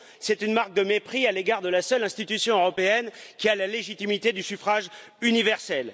C'est une marque de mépris à l'égard de la seule institution européenne qui a la légitimité du suffrage universel.